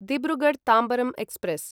Dibrugarh Tambaram express